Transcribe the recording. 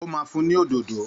Ó ma fún ni òdòdó